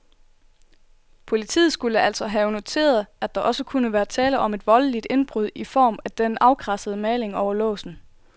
Politiet skulle altså have noteret, at der også kunne være tale om et voldeligt indbrud i form af den afkradsede maling over låsen.